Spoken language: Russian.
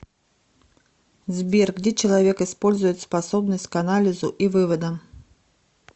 сбер где человек использует способность к анализу и выводам